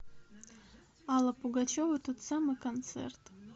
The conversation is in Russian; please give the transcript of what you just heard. алла пугачева тот самый концерт